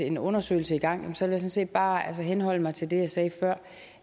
en undersøgelse i gang vil jeg sådan set bare henholde mig til det jeg sagde før